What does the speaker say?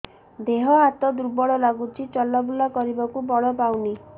ଦେହ ହାତ ଦୁର୍ବଳ ଲାଗୁଛି ଚଲାବୁଲା କରିବାକୁ ବଳ ପାଉନି